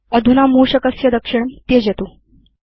अधुना मूषकस्य दक्षिणं त्यजतु